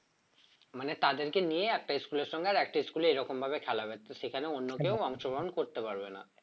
মানে তাদেরকে নিয়ে একটা school এর সঙ্গে আরেকটা school এর এরকম ভাবে খেলা হবে তো সেখানে অন্য কেউ অংশগ্রহণ করতে পারবে না